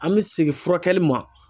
An bɛ segin furakɛli ma.